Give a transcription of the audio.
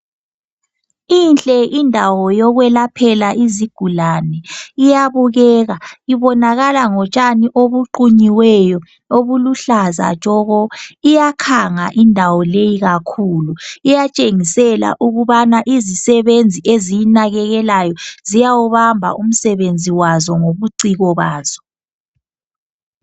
Inhle indawo yokwelaphela izigulani, iyabukeka ibonakala ngotshani obuqunyiweyo obuluhlaza tshoko, iyakhanga indawo leyi kakhulu iyatshengisela ukubana izisebenzi eziyinakekelayo ziyawubamba umsebenzi wazo ngobuciko bazo.